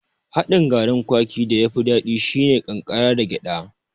Haɗin garin kwaki da yafi daɗi shine mai ƙankara da gyaɗa